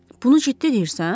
Bunu ciddi deyirsən?